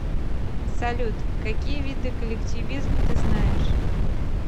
салют какие виды коллективизм ты знаешь